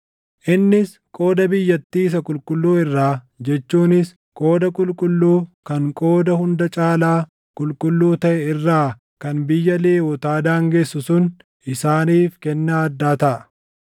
Innis qooda biyyattii isa qulqulluu irraa jechuunis qooda qulqulluu kan qooda hunda caalaa qulqulluu taʼe irraa kan biyya Lewwotaa daangessu sun isaaniif kennaa addaa taʼa.